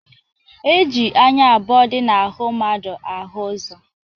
E ji anya abụọ dị n'ahụ mmadụ ahụ-ụzọ.